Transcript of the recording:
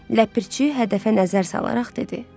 Ləpirçi hədəfə nəzər salaraq dedi: